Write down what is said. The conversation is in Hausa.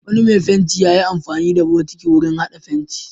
Wani mai fenti ya yi amfani da bokiti wurin haɗa fenti.